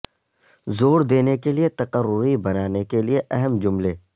زور دینے کے لئے تقرری بنانے کے لئے اہم جملے